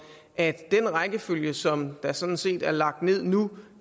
at den rækkefølge som der sådan set er lagt ned nu